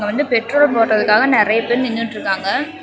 இங்க வந்து பெட்ரோல் போடறதுக்காக நெறைய பேர் நின்னுட்ருக்காங்க.